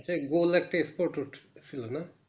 আচ্ছা গোল একটা Spot উছিলোনা